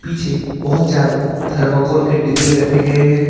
पीछे बहुत जायदा थर्माकोल की डब्बे रखे गए हैं।